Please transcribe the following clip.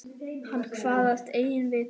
Hann kvaðst eigi vita.